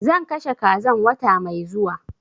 Zan kashe kazan wata mai zuwa